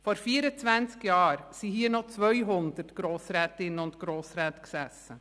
Vor 24 Jahren sassen hier noch 200 Grossrätinnen und Grossräte.